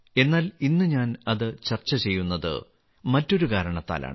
എന്നാൽ ഇന്ന് ഞാൻ അത് ചർച്ച ചെയ്യുന്നത് മറ്റൊരു കാരണത്താലാണ്